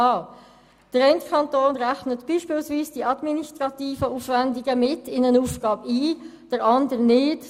Einer der Kantone rechnet beispielsweise bei den Ergänzungsleistungen (EL) die administrativen Aufwände in eine Aufgabe mit ein, der andere nicht.